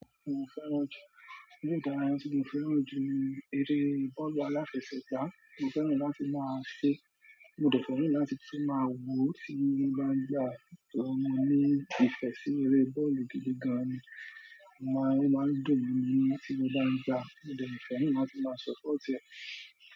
Mo fẹ́ràn ju, ní ìgbà tí mo fẹ́ràn ju eré bọ́ọ̀lù aláfẹsẹ̀gbá, mo fẹ́ràn láti máa ṣe, mo dẹ̀ fẹ́ràn láti tún máa wò ó tí mo bá ń gbà á, torí mo ní ìfẹ́ sí eré bọ́ọ̀lù gidi gan ni, màá máa dùn mí tí mo bá ń gbá á, mo dẹ̀ n fẹ́ràn láti máa ṣọ pọ́ọ̀tì e.